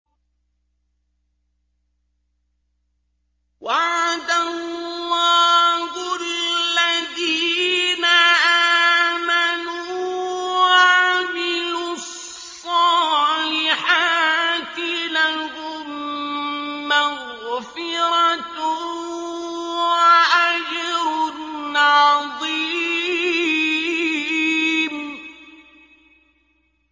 وَعَدَ اللَّهُ الَّذِينَ آمَنُوا وَعَمِلُوا الصَّالِحَاتِ ۙ لَهُم مَّغْفِرَةٌ وَأَجْرٌ عَظِيمٌ